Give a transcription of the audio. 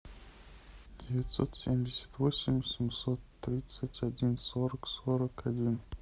девятьсот семьдесят восемь семьсот тридцать один сорок сорок один